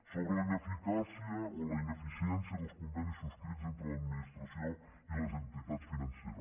sobre la ineficàcia o la ineficiència dels convenis subscrits entre l’administració i les entitats financeres